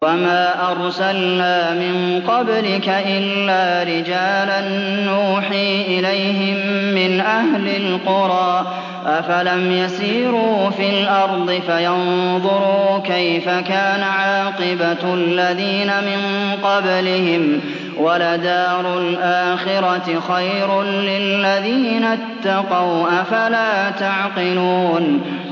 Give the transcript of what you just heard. وَمَا أَرْسَلْنَا مِن قَبْلِكَ إِلَّا رِجَالًا نُّوحِي إِلَيْهِم مِّنْ أَهْلِ الْقُرَىٰ ۗ أَفَلَمْ يَسِيرُوا فِي الْأَرْضِ فَيَنظُرُوا كَيْفَ كَانَ عَاقِبَةُ الَّذِينَ مِن قَبْلِهِمْ ۗ وَلَدَارُ الْآخِرَةِ خَيْرٌ لِّلَّذِينَ اتَّقَوْا ۗ أَفَلَا تَعْقِلُونَ